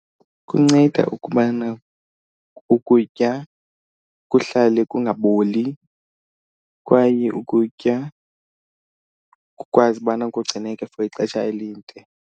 Kunceda ukubana ukutya kuhlale kungaboli kwaye ukutya kukwazi ubana kugcineke for ixesha elide.